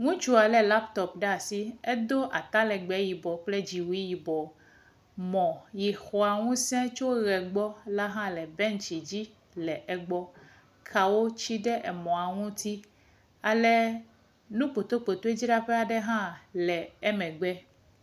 Ŋutsua lé laptɔp ɖe asi, edo atalegbe yibɔ kpli dziwui yibɔ. Mɔ si xɔa ŋusẽ tso ʋe gbɔ la hã le bɛntsi dzi le gbɔ. Kawo tsi ɖe emɔa ŋuti ale nu kpotoekpotoe aɖe dzraƒe hã le emegbe.